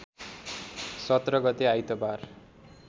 १७ गते आइतबार